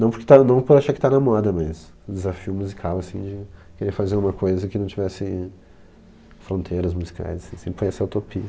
Não por estar, não por achar que está na moda, mas o desafio musical assim de querer fazer uma coisa que não tivesse fronteiras musicais assim, sempre foi essa utopia.